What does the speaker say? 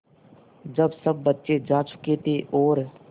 जब सब बच्चे जा चुके थे और